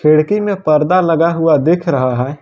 खिड़की में पर्दा लगा हुआ दिख रहा है।